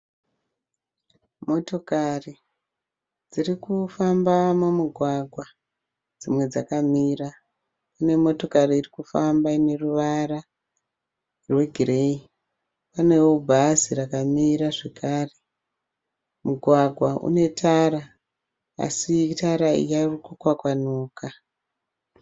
Motokari dzirikufamba mumugwagwa dzimwe dzakamira kune motokari irikufamba ine ruwara rwe gireyi. Paneo bhazi rakamira zvekare. Mugwagwa une tara asi tara iyi yave kukwakwanuka.